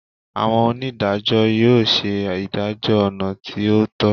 Awọn onidajọ yoo ṣe idajọ ọna ti o tọ